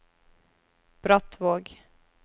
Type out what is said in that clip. Brattvåg